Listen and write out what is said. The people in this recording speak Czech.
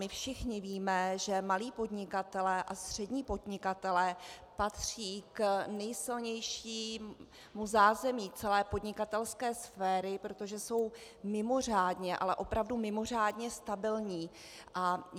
My všichni víme, že malí podnikatelé a střední podnikatelé patří k nejsilnějšímu zázemí celé podnikatelské sféry, protože jsou mimořádně, ale opravdu mimořádně stabilní.